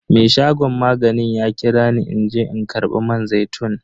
Me shagon maganin ya kira ni in je in karba man zaitun.